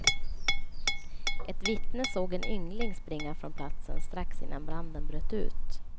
Ett vittne såg en yngling springa från platsen strax innan branden bröt ut.